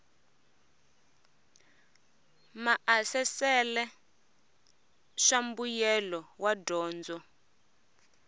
maasesele swa mbuyelo wa dyondzo